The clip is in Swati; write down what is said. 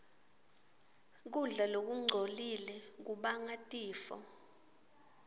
kudla lokungcolile kubangatifo